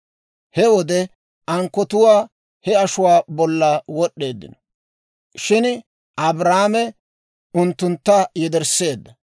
He wode ankkotu he ashuwaa bolla wod'd'eeddino; shin Abraame unttuntta yedersseedda.